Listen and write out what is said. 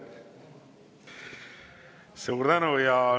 Suur tänu!